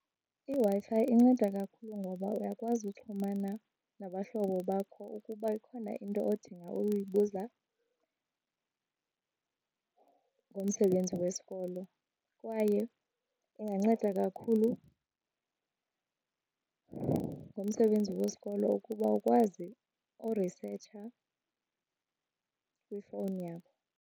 IWi-Fi inceda kakhulu ngoba uyakwazi uxhumana nabahlobo bakho ukuba ikhona into odinga ukuyibuza ngomsebenzi wesikolo kwaye inganceda kakhulu ngomsebenzi wesikolo ukuba ukwazi urisetsha kwifowuni yakho.